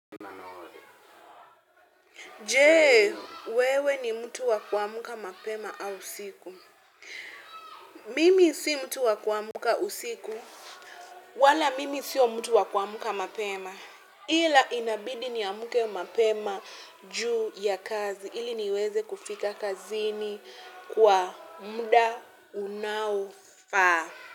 Je, wewe ni mtu wa kuamka mapema au usiku? Mimi si mtu wa kuamka usiku. Wala mimi siyo mtu wa kuamka mapema. Ila inabidi niamke mapema juu ya kazi. Ili niweze kufika kazini kwa muda unaofaa.